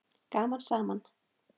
Gaman saman!